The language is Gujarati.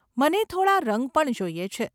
મને થોડાં રંગ પણ જોઈએ છે.